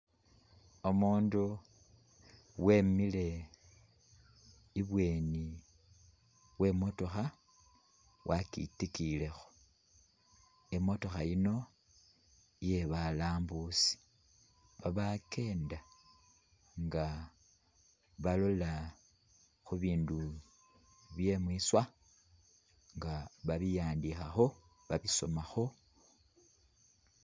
Umundu weemile ibweni we’motokha wa’kitikiyilekho imotokha yino iye balaambusi abakenda nga balola khubindu bye mwiswa nga babiwandikhakho, babisomaakho .